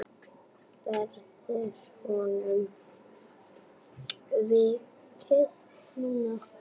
Verður honum vikið núna?